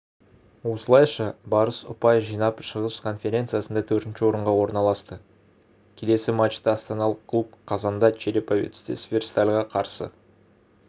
осылайша барыс ұпай жинап шығыс конференциясында төртінші орынға орналасты келесіматчты астаналық клуб қазанда череповецте северстальға қарсы